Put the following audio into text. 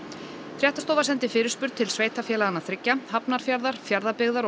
fréttastofa sendi fyrirspurn til sveitarfélaganna þriggja Hafnarfjarðar Fjarðabyggðar og